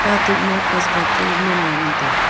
katok ma poker chu men lah ngan tai ga.